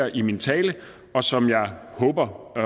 i min tale og som jeg håber at